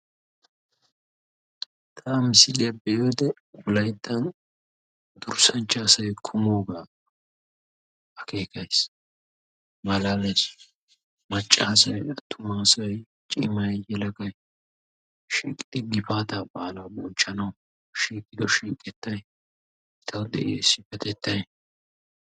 Ta ha misiliya be'iyode wolayttan durssanchcha asay kumoogaa akkekays malaalays. Macca asaay, attuma asaay, ciimay, yeelagay shiiqidi gifaata baalaa bonchchanawu shiiqido shiiqetay etawu de'iya issipetettay.